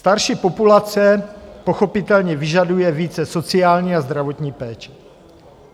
Starší populace pochopitelně vyžaduje více sociální a zdravotní péče.